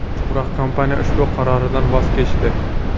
Biroq kompaniya ushbu qaroridan voz kechdi.